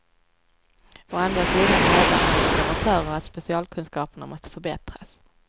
Å andra sidan hävdar andra debattörer att specialkunskaperna måste förbättras.